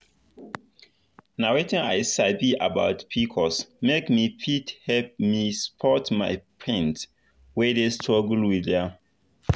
nh wetin i sabi about pcos make me fit help me support my friend wey dey struggle with am.